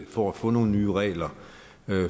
for at få nogle nye regler